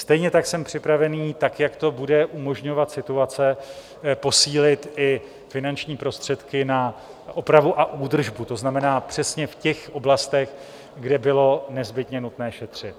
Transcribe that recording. Stejně tak jsem připraven, tak jak to bude umožňovat situace, posílit i finanční prostředky na opravu a údržbu, to znamená přesně v těch oblastech, kde bylo nezbytně nutné šetřit.